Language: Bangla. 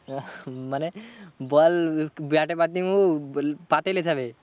মানে বল ব্যাটে বাদ দিয়ে উ পা তে লেয়ে যাবে।